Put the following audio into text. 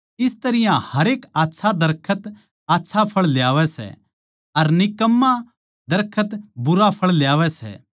इस तरियां हरेक आच्छा दरखत आच्छा फळ ल्यावै सै अर निकम्मा दरखत भुंडा फळ ल्यावै सै